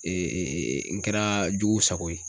n kɛra jugu sago ye